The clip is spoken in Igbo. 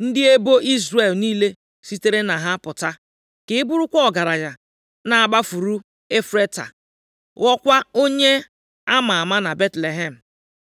+ 4:11 Rechel na Lịa bụ ndị mụrụ ebo niile nke Izrel, nʼotu aka ahụkwa, agbụrụ Devid na onye nzọpụta ahụ sitere na Rut pụta. Ị ga-agụta nke a nʼakwụkwọ \+xt Mat 1:5,6,16\+xt* ndị ebo Izrel niile sitere na ha pụta! Ka ị bụrụkwa ọgaranya nʼagbụrụ Efrata, ghọọkwa onye a ma ama na Betlehem.